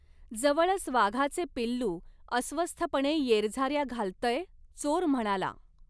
जवळच वाघाचे पिल्लू अस्वस्थपणे येरझार्या घालतंय चोर म्हणाला.